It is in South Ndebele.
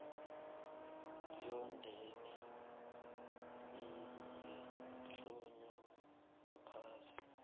yomndeni eyahlonywa ngaphasi